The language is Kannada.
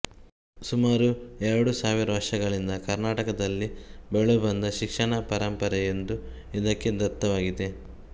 ಸುಮಾರು ಎರಡು ಸಾವಿರ ವರ್ಷಗಳಿಂದ ಕರ್ಣಾಟಕದಲ್ಲಿ ಬೆಳೆದು ಬಂದ ಶಿಕ್ಷಣಾಪರಂಪರೆಯೊಂದು ಇದಕ್ಕೆ ದತ್ತವಾಗಿದೆ